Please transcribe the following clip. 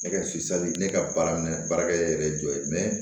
Ne ka ne ka baara minɛ baarakɛ yɛrɛ ye jɔ ye